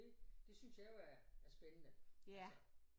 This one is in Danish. Det det synes jeg jo er spændende altså